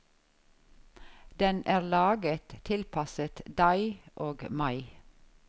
Den er laget, tilpasset deg og meg.